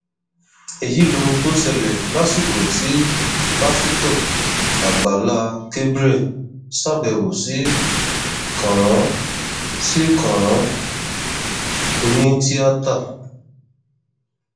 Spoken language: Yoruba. èyí lohun tó ṣẹlẹ lásìkò tí pásítọ àgbàlá gabriel ṣàbẹwò sí kànrán sí kànrán onítìata